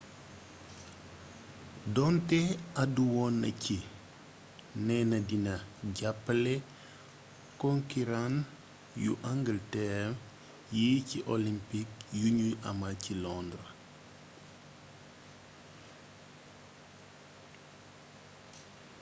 donte àddu woon na ci neena dina jàppale konkiran wu angalteer yi ci olympik yuñuy amal ci londres